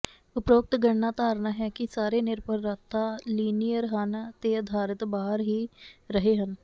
ਉਪਰੋਕਤ ਗਣਨਾ ਧਾਰਨਾ ਹੈ ਕਿ ਸਾਰੇ ਨਿਰਭਰਤਾ ਲੀਨੀਅਰ ਹਨ ਤੇ ਆਧਾਰਿਤ ਬਾਹਰ ਹੀ ਰਹੇ ਹਨ